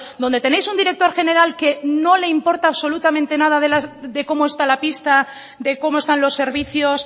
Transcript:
donde tenéis un director general que no le importa absolutamente nada de cómo está la pista de cómo están los servicios